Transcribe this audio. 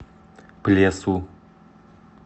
плесу